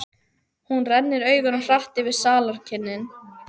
Hún rennir augunum hratt yfir salarkynnin.